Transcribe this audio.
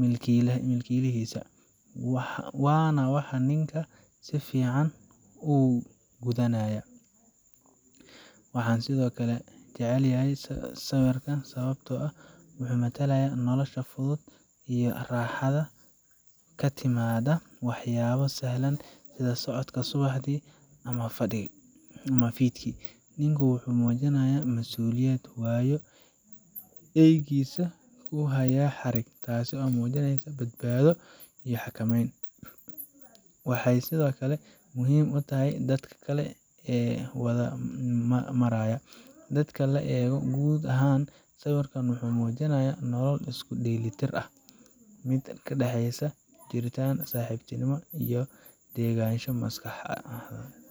milkiilihiisa waana waxa ninkan si fiican u gudanaya. Waxaan sidoo kale jeclahay sawirkan sababtoo ah wuxuu matalayaa nolosha fudud iyo raaxada ka timaadda waxyaabo sahlan sida socodka subaxdii ama fiidkii. Ninku wuxuu muujinayaa masuuliyad, waayo wuxuu eeygiisa ku hayaa xarig, taasoo muujinaysa badbaado iyo xakameyn. Waxay sidoo kale muhiim u tahay dadka kale ee waddada maraya. Marka la eego guud ahaan, sawirkan wuxuu muujinayaa nolol isku dheelitiran mid u dhexeysa jirdhis, saaxiibtinimo, iyo degganaansho maskaxeed.